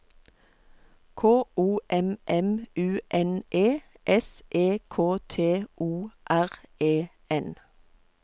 K O M M U N E S E K T O R E N